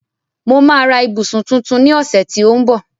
Mo máa ra ibusun tuntun ni ọ̀sẹ̀ tí ó ń bọ̀